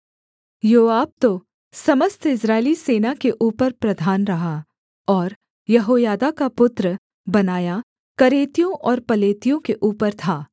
योआब तो समस्त इस्राएली सेना के ऊपर प्रधान रहा और यहोयादा का पुत्र बनायाह करेतियों और पलेतियों के ऊपर था